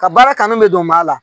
Ka baara kanu mɛ don maa la.